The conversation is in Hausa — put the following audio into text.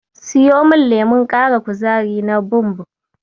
Siyo min lemon ƙara kuzari na Bumb.